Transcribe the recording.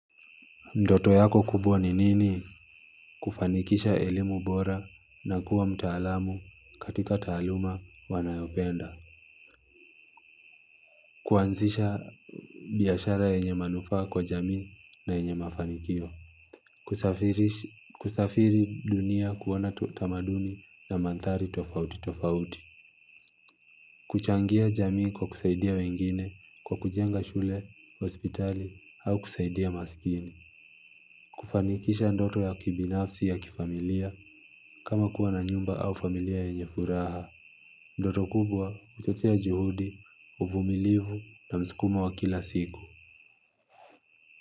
Ndoto yako kubwa ni nini kufanikisha elimu bora na kuwa mtaalamu katika taaluma wanayopenda kuanzisha biashara yenye manufaa kwa jamii na yenye mafanikio kusafiri dunia kuona tamaduni na mandhari tofauti tofauti kuchangia jamii kwa kusaidia wengine kwa kujenga shule, hospitali au kusaidia maskini kufanikisha ndoto ya kibinafsi ya kifamilia kama kuwa na nyumba au familia yenye furaha ndoto kubwa huchochea juhudi, uvumilivu na msukumo wa kila siku.